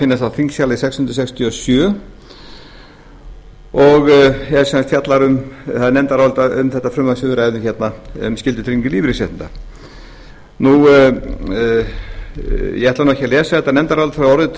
finna á þingskjali sex hundruð sextíu og sjö og það er nefndarálit um þetta frumvarp sem við ræðum hérna um skyldutryggingu lífeyrisréttinda ég ætla ekki að lesa þetta nefndarálit frá orði til